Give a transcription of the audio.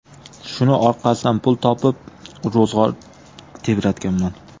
Shuning orqasidan pul topib, ro‘zg‘or tebratganman.